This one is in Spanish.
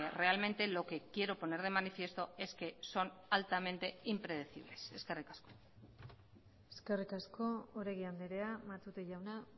realmente lo que quiero poner de manifiesto es que son altamente impredecibles eskerrik asko eskerrik asko oregi andrea matute jauna